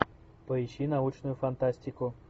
поищи научную фантастику